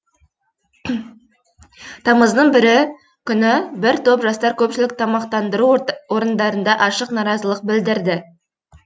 тамыздың бірі күні бір топ жастар көпшілік тамақтандыру орындарында ашық наразылық білдірді